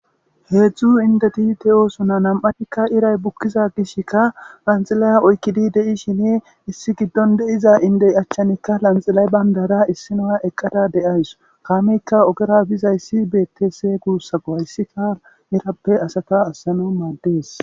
heedzdzu indeti te oosuna nam7atikka iray bukkiza gishkka lanxilaya oykkidi de7ishine issi giddon de7iza indey achchanikka lanxilay bayndara issinoa eqqada deays kaameykka ogera bizayssi betes guussako hayssi kaal irappe asata assana maaddees